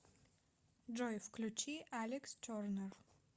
джой включи алекс тернер